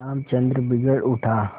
रामचंद्र बिगड़ उठा